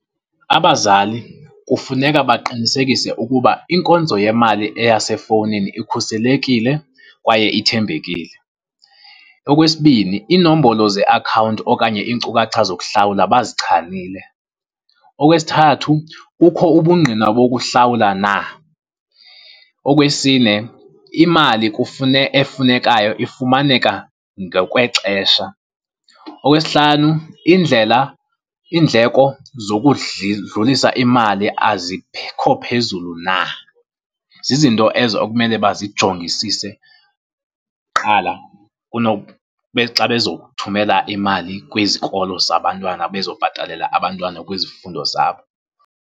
Abazali kufuneka baqinisekise ukuba inkonzo yemali eyasefowunini ikhuselekile kwaye ithembekile. Okwesibini iinombolo zeakhawunti okanye iinkcukacha zokuhlawula bazichanile. Okwesithathu kukho ubungqina bokuhlawula na. Okwesine imali efunekayo ifumaneka ngokwexesha. Okwesihlanu indlela, iindleko dlulisa imali azikho phezulu na. Zizinto ezo okumele bazijongisise kuqala xa bezokuthumela imali kwizikolo zabantwanabezobhatalela abantwana kwizifundo zabo.